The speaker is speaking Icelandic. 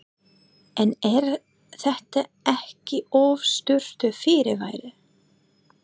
En er þetta ekki of stuttur fyrirvari?